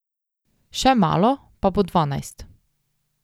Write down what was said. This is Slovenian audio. Še malo, pa bo dvanajst.